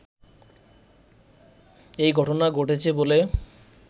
এই ঘটনা ঘটেছে বলে